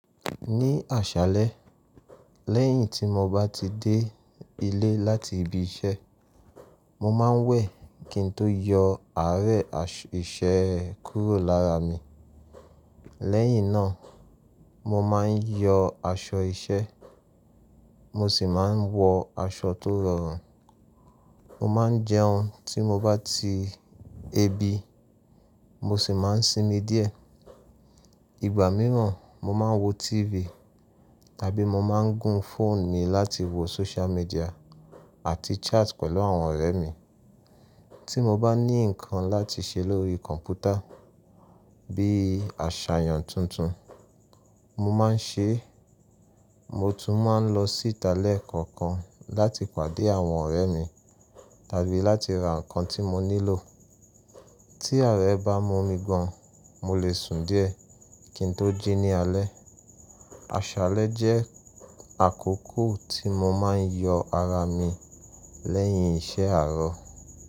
Ni àṣálẹ́, lẹ́yìn tí mo bá ti dé ilé láti ibi iṣẹ́, mo máa ń wẹ̀ kí n tó yọ àárẹ̀ iṣẹ́ kúrò lára mi. Lẹ́yìn náà, mo má ń yọ aṣọ iṣẹ́, mo sì máa ń wọ aṣọ tó rọrùn. Mo máa ń jẹun tí mo bá tí ebi, mo sì máa ń sinmi díẹ̀. Ìgbà mìíràn, mo máa ń wo TV tàbí mo máa ń gún fóònù mi láti wo social media àti chat pẹ̀lú àwọn ọ̀rẹ́ mi. Tí mo bá ní nǹkan láti ṣe lórí kọ̀ǹpútà bíi àṣàyàn tuntun, mo máa ń ṣe é. Mo tún máa ń lọ sí ìta lẹ́ẹ̀kọ̀kan láti pàdé àwọn ọ̀rẹ́ mi tàbí láti ra nǹkan tí mo nílò. Tí àárẹ̀ bá mú mi gan, mo lè sùn díẹ̀ kí n tó jí ní alẹ́. Àṣálẹ́ jẹ́ àkókò tí mo máa ń yọ ara mi lẹ́yìn iṣẹ́ àárọ̀